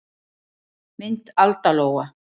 Mynd Alda Lóa.